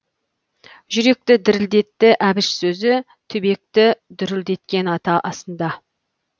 жүректі дірілдетті әбіш сөзі түбекті дүрілдеткен ата асында